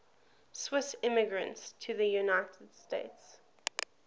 swiss immigrants to the united states